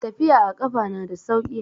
Tafiya a kafa na da sauki.